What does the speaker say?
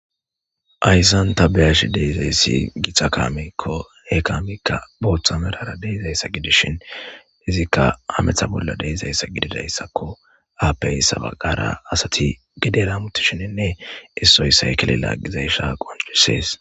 Hayssan ta beyashi deyizayssi gita kaamikko ha kaamikka booththa merara deyzayssa gidishin izikka ametha bolla deizayssa gididayssakko aapey sabagara asati gideramutishininne issoyssay kelela gizaysha qoncussees.